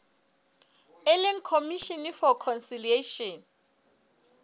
e leng commission for conciliation